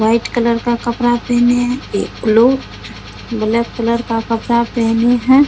White colour का कपड़ा पहने हैं ये लोग ब्लैक कलर का कपड़ा पहने हैं।